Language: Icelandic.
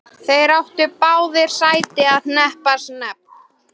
Þeir áttu báðir sæti í hreppsnefnd.